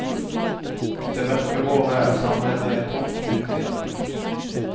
Det mørke håret er samlet i en tung knute i nakken.